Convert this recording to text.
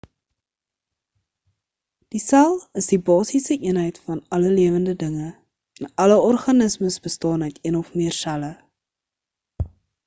die sel is die basiese eenheid van alle lewende dinge en alle organismes bestaan uit een of meer selle